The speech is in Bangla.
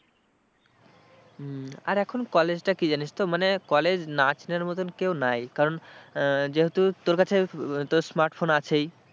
হম আর এখন college টা কি জানিস তো মানে college না চেনার মতন কেউ নাই, কারণ যেহেতু তোর কাছে তোর smart phone আছেই।